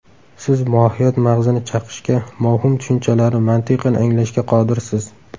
Siz mohiyat mag‘zini chaqishga, mavhum tushunchalarni mantiqan anglashga qodirsiz.